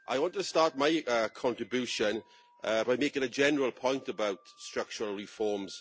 I want to start my contribution by making a general point about structural reforms.